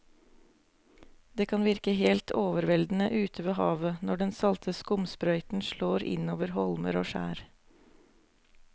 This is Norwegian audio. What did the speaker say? Det kan virke helt overveldende ute ved havet når den salte skumsprøyten slår innover holmer og skjær.